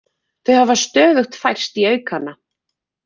Þau hafa stöðugt færst í aukana